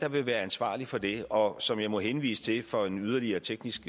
vil være ansvarlig for det og som jeg må henvise til for en yderligere teknisk